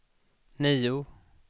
nio